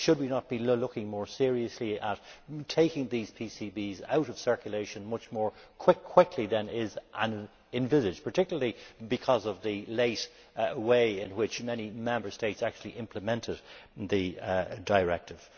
Should we not be looking more seriously at taking these PCBs out of circulation much more quickly than is envisaged, particularly because of the late way in which many Member States actually implemented the directive?